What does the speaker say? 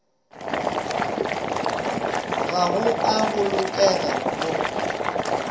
ga go a bolokega go